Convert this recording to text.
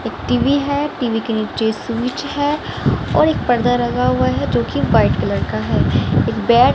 एक टी_वी है टी_वी के नीचे स्विच है और एक पर्दा लगा हुआ है जोकि व्हाइट कलर का है एक बेड --